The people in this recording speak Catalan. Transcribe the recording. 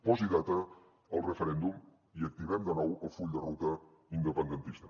posi data al referèndum i activem de nou el full de ruta independentista